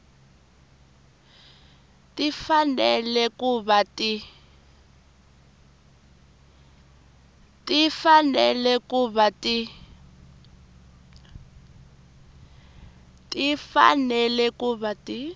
ti fanele ku va ti